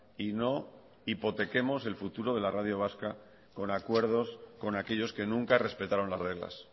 y no hipotequemos el futuro de la radio vasca con acuerdos con aquellos que nunca respetaron las reglas